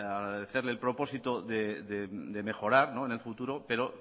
agradecerle el propósito de mejorar en el futuro pero